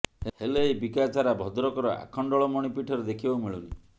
ହେଲେ ଏହି ବିକାଶ ଧାରା ଭଦ୍ରକର ଆଖଣ୍ଡଳମଣି ପୀଠରେ ଦେଖିବାକୁ ମିଳୁନି